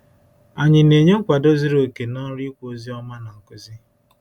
Anyị na-enye nkwado zuru oke n’ọrụ ikwu ozi ọma na nkuzi?